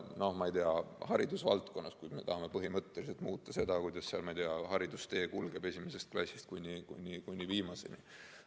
Näiteks haridusvaldkonnas, kui me tahame põhimõtteliselt muuta seda, kuidas haridustee esimesest klassist kuni viimaseni kulgeb.